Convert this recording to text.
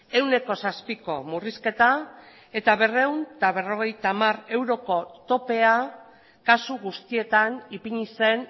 ehuneko zazpiko murrizketa eta berrehun eta berrogeita hamar euroko topea kasu guztietan ipini zen